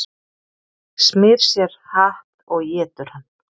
Smyr sér hatt og étur hann